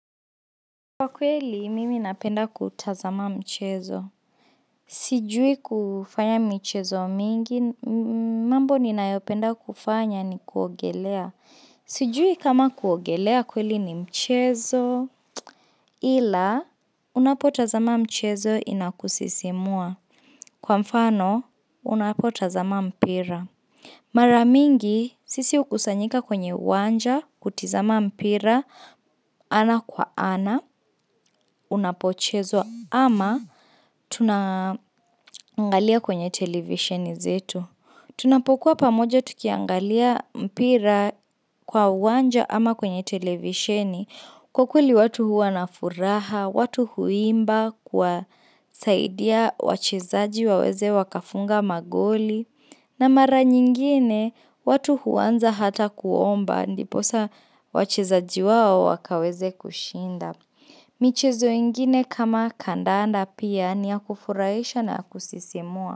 Kwa kweli, mimi napenda kutazama mchezo. Sijui kufanya michezo mingi, mambo ninayopenda kufanya ni kuogelea. Sijui kama kuogelea kweli ni mchezo. Ila, unapotazama mchezo inakusisimua. Kwa mfano, unapotazama mpira. Mara mingi, sisi hukusanyika kwenye uwanja kutizama mpira ana kwa ana. Unapochezwa ama tunaangalia kwenye televisheni zetu Tunapokuwa pamoja tukiangalia mpira kwa uwanja ama kwenye televisheni kwa kweli watu huwa na furaha, watu huimba kuwasaidia wachezaji waweze wakafunga magoli na mara nyingine watu huanza hata kuomba ndiposa wachezaji wao wakaweze kushinda michezo ingine kama kandanda pia ni ya kufurahisha na ya kusisimua.